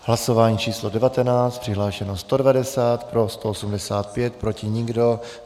Hlasování číslo 19. Přihlášeno 190, pro 185, proti nikdo.